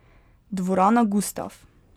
Dvorana Gustaf.